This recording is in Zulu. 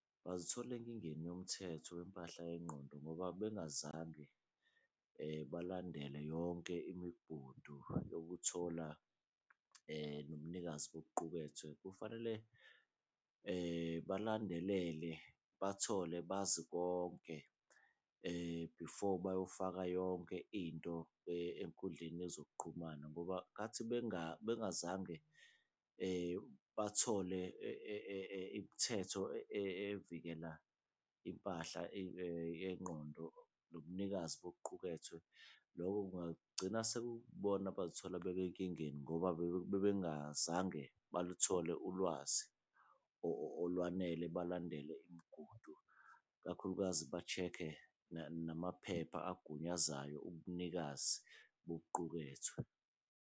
Bazithola enkingeni yomthetho wempahla yengqondo ngoba bengazange balandele yonke imigudu yokuthola nomnikazi bokuqukethwe, kufanele balandelele bathole bazi konke before bayofaka yonke into enkundleni yezokuqhumana. Ngoba khathi bengazange bathole imithetho evikela impahla yengqondo nobunikazi bokuqhukethwe, lokho kungagcina sekuyibona abazithole ngoba bebengazange baluthole ulwazi olwanele. Balandele imigudu, i kakhulukazi ba-check-e namaphepha abagunyazayo ubunikazi bokuqukethwe.